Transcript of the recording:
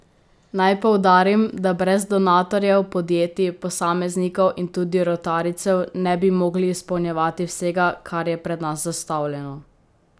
Naj poudarim, da brez donatorjev, podjetij, posameznikov in tudi rotarijcev ne bi mogli izpolnjevati vsega, kar je pred nas zastavljeno.